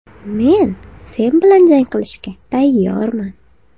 Men sen bilan jang qilishga tayyorman.